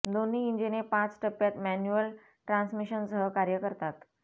दोन्ही इंजिने पाच टप्प्यांत मॅन्युअल ट्रान्समिशनसह कार्य करतात